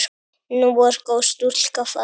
Nú er góð stúlka farin.